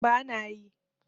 ba na yi